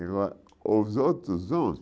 E agora, os outros